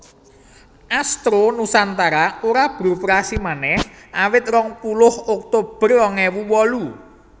Astro Nusantara ora beroperasi manèh awit rong puluh Oktober rong ewu wolu